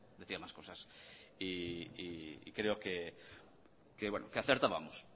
decía más cosas y creo que acertábamos